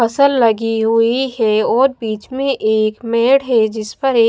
फसल लगी हुई हे और बीच में एक मेड है जिस पर एक--